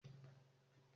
Ṣé o máa gé igi náà?